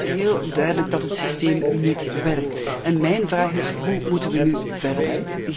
Het is dus heel duidelijk dat het systeem niet werkt. En mijn vraag is hoe moeten we nu verder?